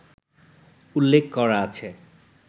উল্লেখ করা আছে